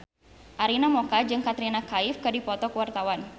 Arina Mocca jeung Katrina Kaif keur dipoto ku wartawan